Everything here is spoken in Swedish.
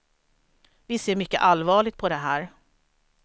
Vi ser mycket allvarligt på det här.